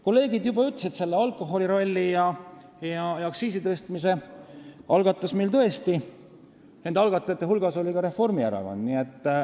Kolleegid juba ütlesid, et alkoholiralli ja aktsiisi tõstmise algatajate hulgas oli tõesti ka Reformierakond.